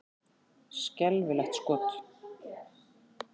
Skelfilegt skot!